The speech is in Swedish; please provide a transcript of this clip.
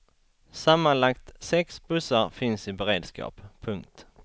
Sammanlagt sex bussar finns i beredskap. punkt